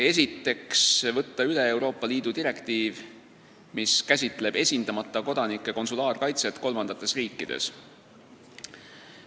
Esiteks, võtta üle Euroopa Liidu direktiiv, mis käsitleb esindamata kodanike konsulaarkaitset kolmandates riikides.